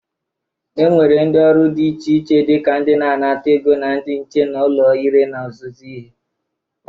E nwere ndị ọrụ dị iche iche dịka ndị na-anata ego na ndị nche n'ụlọ ire na ọzụzụ ihe.